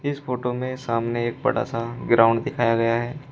इस फोटो में सामने एक बड़ा सा ग्राउंड दिखाया गया है।